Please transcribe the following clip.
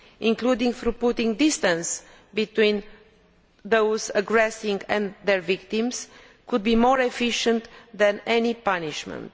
including putting distance between those aggressing and their victims, could be more efficient than any punishment.